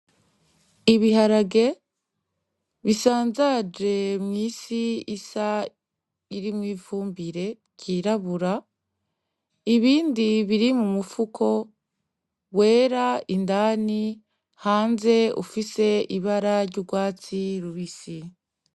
Ibiharage bisanzaje mw'isi isa n'iyirimwo ifumbire ryirabura ,ibindi biri mumufuko wera indani, hanze ufise ibara ry'urwatsi rubisi.